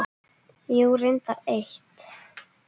Jú, reyndar eitt.